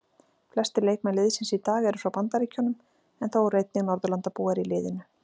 Flestir leikmenn liðsins í dag eru frá Bandaríkjunum en þó eru einnig Norðurlandabúar í liðinu.